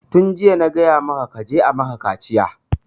Tun jiya na gaya maka kaje a maka kaciya!